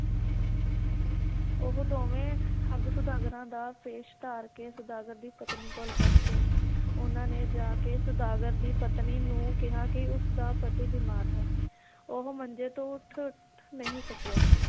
ਉਹ ਦੋਵੇਂ ਠੱਗ ਸੌਦਾਗਰਾਂ ਦਾ ਭੇਸ਼ ਧਾਰ ਕੇ ਸੌਦਾਗਰ ਦੀ ਪਤਨੀ ਕੋਲ ਪਹੁੰਚੇ ਉਹਨਾਂ ਨੇ ਜਾ ਕੇ ਸੌਦਾਗਰ ਦੀ ਪਤਨੀ ਨੂੰ ਕਿਹਾ ਕਿ ਉਸ ਦਾ ਪਤੀ ਬਿਮਾਰ ਹੈ ਉਹ ਮੰਜੇ ਤੋਂ ਉੱਠ ਨਹੀ ਸਕਿਆ